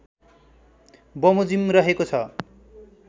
बमोजिम रहेको छ